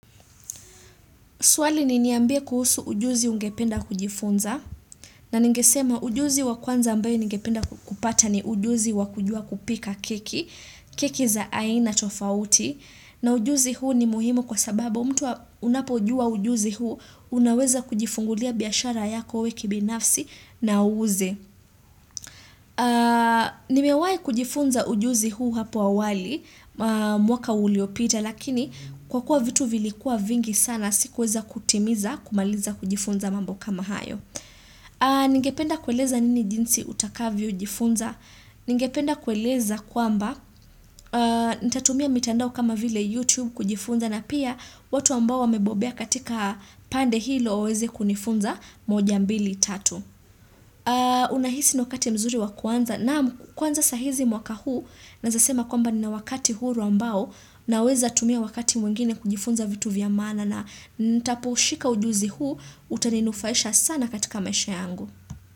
Swali ni niambie kuhusu ujuzi ungependa kujifunza. Na ningesema ujuzi wa kwanza ambayo ningependa kupata ni ujuzi wa kujua kupika keki. Keki za aina tofauti. Na ujuzi huu ni muhimu kwa sababu mtu unapojua ujuzi huu. Unaweza kujifungulia biashara yako we kibinafsi na uuze. Nimewai kujifunza ujuzi huu hapo awali. Mwaka uliopita. Lakini kwa kuwa vitu vilikuwa vingi sana sikuweza kutimiza kumaliza kujifunza mambo kama hayo Ningependa kueleza nini jinsi utakavyojifunza. Ningependa kueleza kwamba nitatumia mitandao kama vile YouTube kujifunza na pia watu ambao wamebobea katika pande hilo waweze kunifunza moja mbili tatu Unahisi ni wakati mzuri wa kuanza? Naam kwanza saa hizi mwaka huu, naweza sema kwamba nina wakati huru ambao naweza tumia wakati mwengine kujifunza vitu vya maana na nitapoushika ujuzi huu, utaninufaisha sana katika maisha yangu.